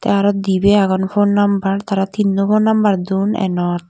te arow dibey agon fon nombor tara tinno fon nombor don enot.